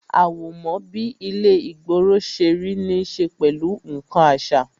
Àwọ̀mọ́ bí ilé ìgboro ṣe rí ní ṣe pẹ̀lú nkan àṣà